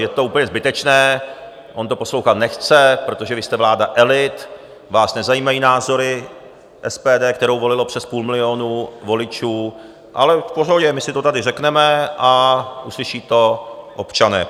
Je to úplně zbytečné, on to poslouchat nechce, protože vy jste vláda elit, vás nezajímají názory SPD, kterou volilo přes půl milionu voličů, ale v pohodě, my si to tady řekneme a uslyší to občané.